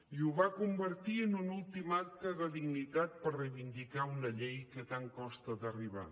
i ho va convertir en un últim acte de dignitat per reivindicar una llei a què tant costa d’arribar